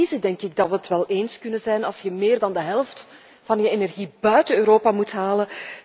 Na analyse denk ik dat we het wel eens kunnen worden als je meer dan de helft van je energie buiten Europa moet halen.